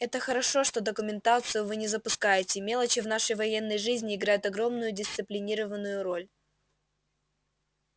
это хорошо что документацию вы не запускаете мелочи в нашей военной жизни играют огромную дисциплинированную роль